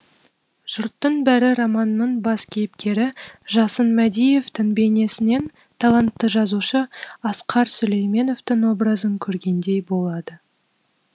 жұрттың бәрі романның бас кейіпкері жасын мәдиевтің бейнесінен талантты жазушы асқар сүлейменовтың образын көргендей болады